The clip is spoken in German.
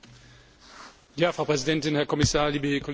Frau Präsidentin, Herr Kommissar, liebe Kolleginnen und Kollegen!